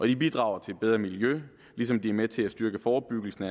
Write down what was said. de bidrager til et bedre miljø ligesom de er med til at styrke forebyggelsen